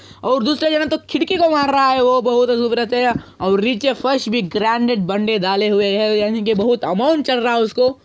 और दूसरे जान हो तो खिड़की को मार रहा है वो बहुत रुवर्य और निचे फर्श भी ग्रैंडेड बन्दे डाले हुए है यानि की बहुत आमोन चल रहा है उसको |